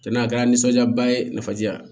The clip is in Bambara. Ka na a kɛra nisɔndiya ba ye nafaji la